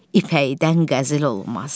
ipəkdən qəzil olmaz.